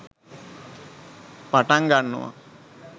පටන් ගන්නවා.